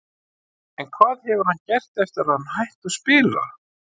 En hvað hefur hann gert eftir að hann hætti að spila?